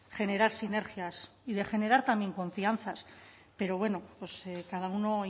generar sinergias y de generar también confianzas pero bueno pues cada uno